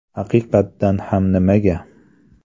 Haqiqatdan ham nimaga?